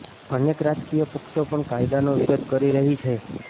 અનેક રાજકીય પક્ષો પણ કાયદાનો વિરોધ કરી રહી છે